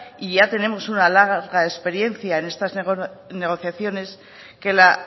y ya tenemos una larga experiencia en estas negociaciones que la